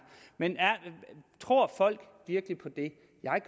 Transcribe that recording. men tror folk virkelig på det